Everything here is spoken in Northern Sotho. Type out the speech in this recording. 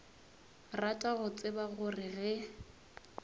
rata go tseba gore ge